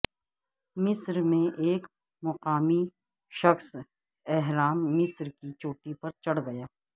مصرمیں ایک مقامی شخص اہرام مصرکی چوٹی پر چڑھ گیا